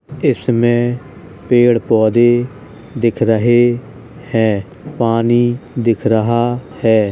इसमे पेड़ पौधे दिख रहे हैं। पानी दिख रहा है।